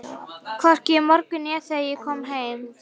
Hvorki í morgun né þegar ég kom heim.